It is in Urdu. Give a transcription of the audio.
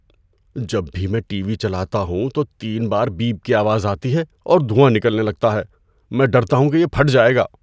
جب بھی میں ٹی وی چلاتا ہوں تو تین بار بیپ کی آواز آتی ہے اور دھواں نکلنے لگتا ہے۔ میں ڈرتا ہوں کہ یہ پھٹ جائے گا۔